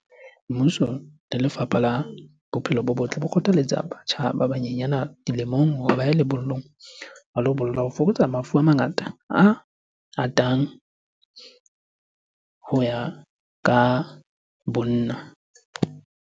Mmuso le lefapha la bophelo bo botl, bo kgothaletsa batjha ba banyenyana dilemong hore ba ye lebollong ho lo bolla ho fokotsa mafu a mangata a atang ho ya ka bonna.